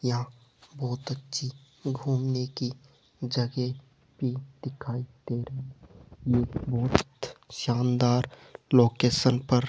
यहां बहोत अच्छी घूमने की जगह भी दिखाई दे रही ये बहोत शानदार लोकेशन पर --